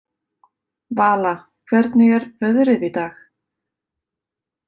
Vala, hvernig er veðrið í dag?